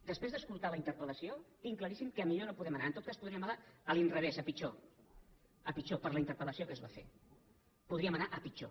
després d’escoltar la interpellació tinc claríssim que a millor no podem anar en tot cas podríem anar a l’inrevés a pitjor a pitjor per la interpel·lació que es va fer podríem anar a pitjor